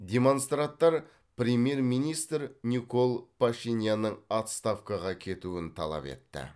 демонстраттар премьер министр никол пашинянның отставкаға кетуін талап етті